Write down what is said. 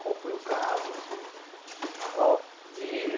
Qual foi o caso assim? Ó de